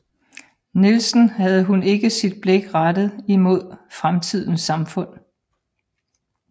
Nielsen havde hun ikke sit blik rettet imod fremtidens samfund